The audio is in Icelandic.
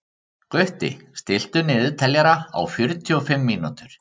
Gutti, stilltu niðurteljara á fjörutíu og fimm mínútur.